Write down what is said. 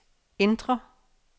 indre